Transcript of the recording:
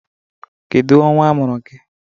Kedu ọnwa a mụrụ gị?